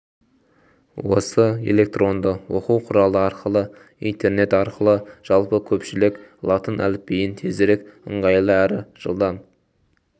осы электронды оқу құралы арқылы интернет арқылы жалпы көпшілік латын әліпбиін тезірек ыңғайлы әрі жылдам